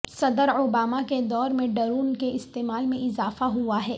صدر اوباما کے دور میں ڈرون کے استعمال میں اضافہ ہوا ہے